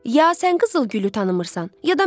Ya sən qızılgülü tanımırsan, ya da mən.